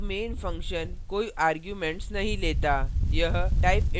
यहाँ int main function कोई arguments arguments नहीं लेता